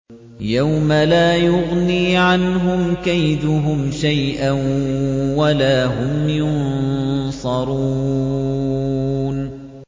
يَوْمَ لَا يُغْنِي عَنْهُمْ كَيْدُهُمْ شَيْئًا وَلَا هُمْ يُنصَرُونَ